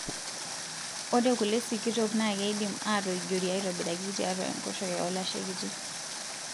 Ore kule sikitok naa keidim atoijiori aitobiraki tiatua enkoshoke olashe kitii.